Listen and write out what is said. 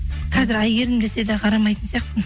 қазір әйгерім десе де қарамайтын сияқтымын